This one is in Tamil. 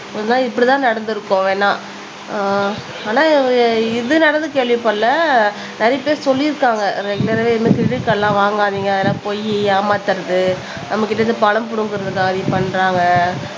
ஒரு நாள் இப்படித்தான் நடந்திருப்போம் வேணா ஆஹ் ஆனா இது நடந்து கேள்விப்படலை நிறைய பேர் சொல்லியிருக்காங்க கிரெடிட் கார்டுலாம் வாங்காதீங்க அதெல்லாம் பொய் ஏமாத்தறது நம்ம கிட்ட இருந்து பணம் புடுங்கறதுக்காண்டி பண்றாங்க